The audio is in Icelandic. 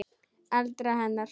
eldra hennar.